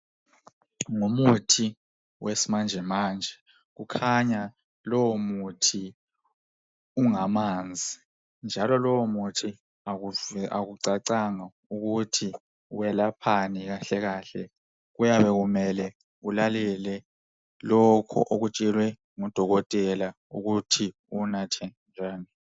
Ngumuthi wesimanje manje kukhanya lowo muthi ungamanzi. Njalo lowo muthi akucacanga ukuthi welaphani kahle. Kuyabe kumele ulalele lokho okutshelwe ngudokotela ukuthi uwunathe njani.